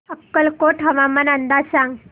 अक्कलकोट हवामान अंदाज सांग